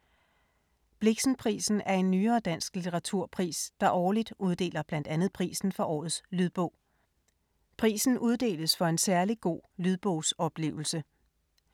Blixenprisen er en nyere dansk litteraturpris, der årligt uddeler blandt andet prisen for Årets lydbog. Prisen uddeles for en særlig god lydbogsoplevelse.